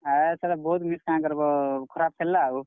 ହଏ ସଲା ବହୁତ୍ miss କେଁ କର୍ ବ ଖରାପ୍ ଖେଲ୍ ଲା ଆଉ।